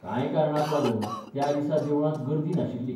कांय कारणांक लागून त्या दिसा देवळांत गर्दी नाशिल्ली.